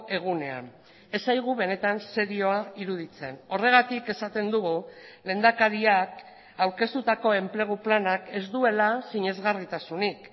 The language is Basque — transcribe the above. egunean ez zaigu benetan serioa iruditzen horregatik esaten dugu lehendakariak aurkeztutako enplegu planak ez duela sinesgarritasunik